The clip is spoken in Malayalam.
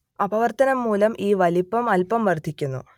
അപവർത്തനം മൂലം ഈ വലിപ്പം അൽപം വർദ്ധിക്കുന്നു